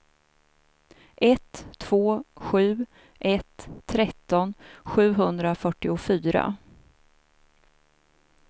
ett två sju ett tretton sjuhundrafyrtiofyra